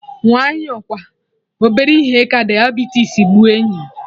Nwayọ kwa, obere ihe ka diabetes gbuo enyi m